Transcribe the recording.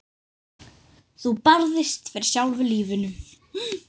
Þú barðist fyrir sjálfu lífinu.